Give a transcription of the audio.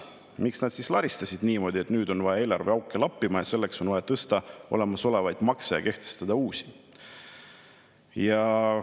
Miks nad siis laristasid niimoodi, et nüüd on vaja eelarveauke lappida ning selleks on vaja tõsta olemasolevaid makse ja kehtestada uusi?